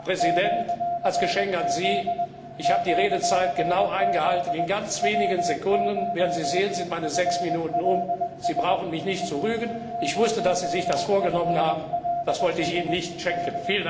Herr Präsident, als Geschenk an Sie Ich habe die Redezeit genau eingehalten, Sie werden sehen, in ganz wenigen Sekunden sind meine sechs Minuten um, Sie brauchen mich nicht zu rügen, ich wusste, dass Sie sich das vorgenommen haben, das wollte ich Ihnen nicht schenken!